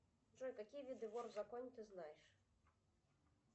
джой какие виды вор в законе ты знаешь